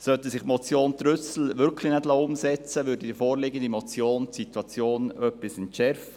Sollte sich die Motion Trüssel wirklich nicht umsetzen lassen, würde die vorliegende Motion die Situation etwas entschärfen;